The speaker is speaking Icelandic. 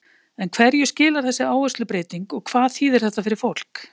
En hverju skilar þessi áherslubreyting og hvað þýðir þetta fyrir fólk?